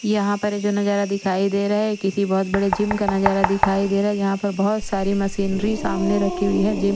यहा पर ये जो नजारा दिखाई दे रहा है किसी बहोत बड़े जिम का नजारा दिखाई देरा है यहा पर बहोत सारी मशीनरी सामने रखी हुई है जीम --